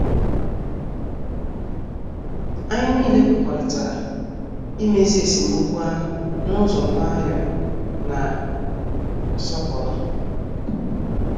Anyị nile kwekọrịtara imezi esemokwu ahụ n' ụzọ nwayọ na nsọpụrụ.